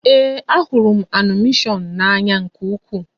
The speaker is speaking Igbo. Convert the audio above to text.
Ee, a hụrụ m animeshọn a n'ányá nkè ukwuu